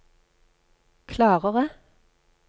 klarere